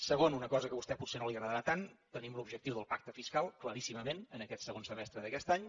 segon una cosa que a vostè potser no li agradarà tant tenim l’objectiu del pacte fiscal claríssimament en aquest segon semestre d’aquest any